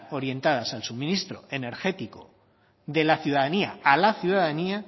orientadas al suministro energético de la ciudadanía a la ciudadanía